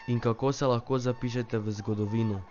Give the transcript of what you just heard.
In kako se lahko zapišete v zgodovino?